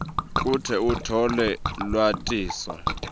kute utfole lwatiso